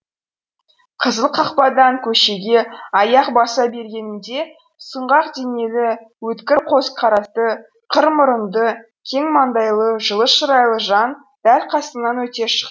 қызыл қақпадан көшеге аяқ баса бергенімде сұңғақ денелі өткір көзқарасты қыр мұрынды кең маңдайлы жылы шырайлы жан дәл қасымнан өте